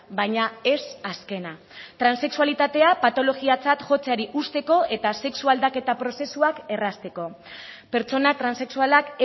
baina ez azkena transexualitatea patologiatzat jotzeari uzteko eta sexu aldaketa prozesuak errazteko pertsona transexualak